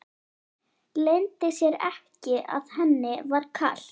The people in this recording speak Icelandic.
Leyndi sér ekki að henni var kalt.